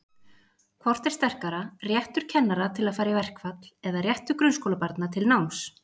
Hvort er sterkara, réttur kennara til að fara í verkfall eða réttur grunnskólabarna til náms?